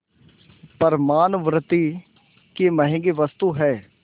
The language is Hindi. पर मानवृद्वि की महँगी वस्तु है